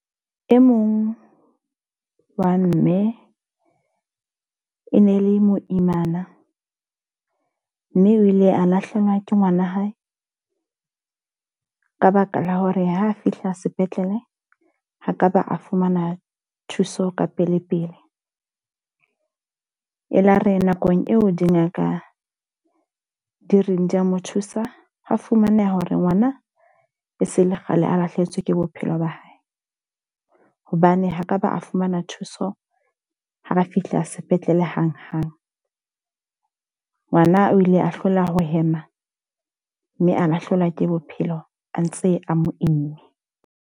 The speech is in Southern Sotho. E mong wa mme e ne le moimana. Mme o ile a lahlehelwa ke ngwana hae ka baka la hore ha a fihla sepetlele, ha ka ba a fumana thuso ka pele pele. E la re nakong eo di ngaka di reng di a mo thusa. Ho fumaneha hore ngwana e se le kgale a lahlehetswe ke bophelo ba hae. Hobane ha ka ba a fumana thuso, ha re fihla sepetlele hang hang. Ngwana o ile a hloleha ho hema, mme a lahlehelwa ke bophelo a ntse a mo imme.